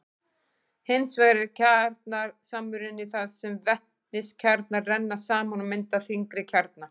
hins vegar er kjarnasamruni þar sem vetniskjarnar renna saman og mynda þyngri kjarna